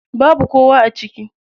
Babu kowa a ciki.